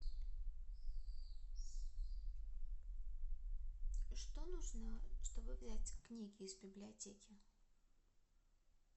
что нужно чтобы взять книги из библиотеки